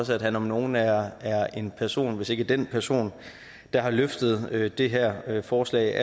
også at han om nogen er en person hvis ikke den person der har løftet det det her forslag